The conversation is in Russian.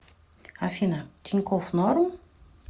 афина тинькофф норм